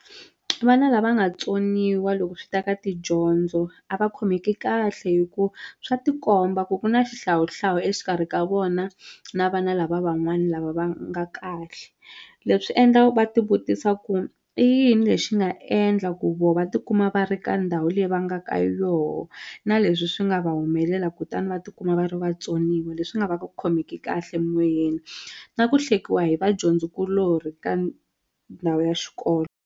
Vana lava nga tsoniwa loko swi ta ka tidyondzo a va khomeki kahle hi ku swa tikomba ku ku na xihlawuhlawu exikarhi ka vona na vana lava van'wani lava va nga kahle leswi endla va ti vutisa ku i yini lexi nga endla ku vo va tikuma va ri ka ndhawu leyi va nga ka yoho na leswi swi nga va humelela kutani va tikuma va ri vatsoniwa leswi nga va va khomeki kahle moyeni na ku hlekiwa hi vadyondzi kulorhi ka ndhawu ya xikolo.